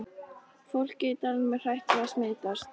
Fólkið í dalnum er hrætt við að smitast.